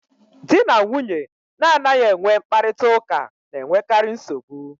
Di na nwunye na-anaghị enwe mkparịta ụka na-enwekarị nsogbu.